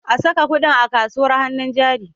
Ka saka kuɗin a kasuwar hannun jari!